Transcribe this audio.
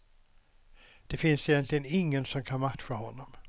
Det finns egentligen ingen som kan matcha honom.